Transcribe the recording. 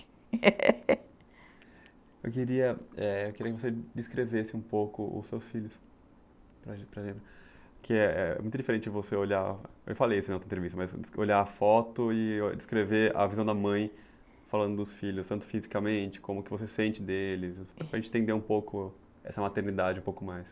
Eu queria, eh, que você descrevesse um pouco os seus filhos, que é muito diferente de você olhar, eu falei isso em outra entrevista, mas olhar a foto e descrever a visão da mãe falando dos filhos, tanto fisicamente como o que você sente deles, para a gente entender um pouco essa maternidade um pouco mais.